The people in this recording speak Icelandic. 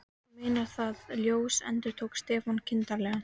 Þú meinar ÞAÐ ljós endurtók Stefán kindarlegur.